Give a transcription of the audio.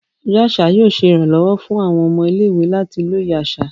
Ọjọ aṣa yóò ṣe iranlọwọ fun awọn ọmọ ile-iwe lati loye aṣa.